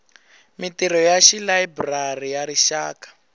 mintirho ya layiburari ya rixaka